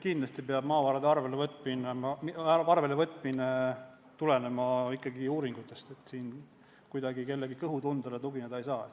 Kindlasti peab maavarade arvelevõtmine tulenema ikkagi uuringutest, siin kuidagi kellegi kõhutundele tugineda ei saa.